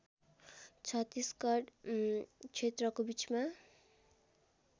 छत्तीसगढ क्षेत्रको बीचमा